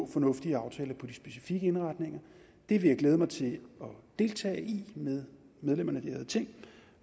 fornuftige aftaler om de specifikke indretninger det vil jeg glæde mig til at deltage i med medlemmerne af det ærede ting